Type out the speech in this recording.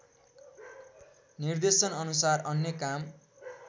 निर्देशनअनुसार अन्य काम